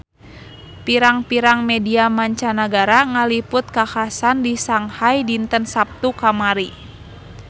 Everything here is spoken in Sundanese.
Pirang-pirang media mancanagara ngaliput kakhasan di Shanghai dinten Saptu kamari